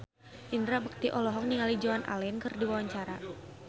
Indra Bekti olohok ningali Joan Allen keur diwawancara